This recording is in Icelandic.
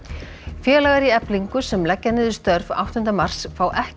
félagar í Eflingu sem leggja niður störf áttunda mars fá ekki